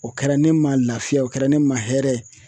O kɛra ne ma lafiya o kɛra ne ma hɛrɛ ye.